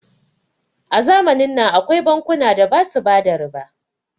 a zamanin nan akwai bankuna da basu bada riba